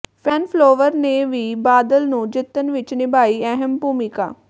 fan follower ਨੇ ਵੀ ਬਾਦਲ ਨੂੰ ਜਿੱਤਣ ਵਿਚ ਨਿਭਾਈ ਅਹਿਮ ਭੂਮਿਕਾ